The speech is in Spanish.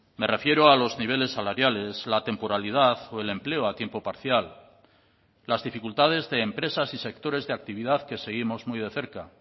me refiero a los niveles salariales la temporalidad o el empleo a tiempo parcial las dificultades de empresas y sectores de actividad que seguimos muy de cerca